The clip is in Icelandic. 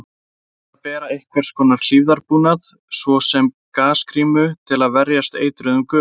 Gott er að bera einhvers konar hlífðarbúnað, svo sem gasgrímu, til að verjast eitruðum gufum.